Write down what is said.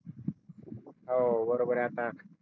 हो बरोबर आहे आता